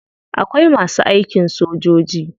Akwai masu aikin sojoji.